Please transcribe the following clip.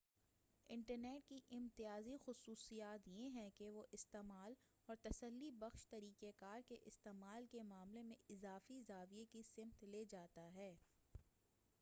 internet کی امتیازی خصوصیات یہ ہیں کہ وہ استعمال اور تسلی بخش طریقہ کار کے استعمال کے معاملے میں اضافی زاویہ کی سمت لے جاتا ہے